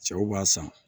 Cɛw b'a san